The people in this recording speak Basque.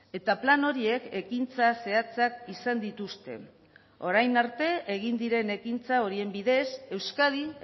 eta plan horiek ekintza zehatzak izan dituzte orain arte egin diren ekintza horien bidez euskadin